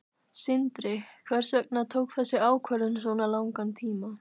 Sindri: Hvers vegna tók þessi ákvörðun svona langan tíma?